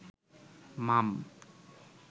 মাম